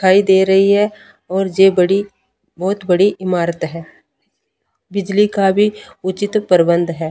दिखाई दे रही हैं और ये बड़ी बहुत बड़ी इमारत हैं बिजली का भी उचित प्रबंध हैं।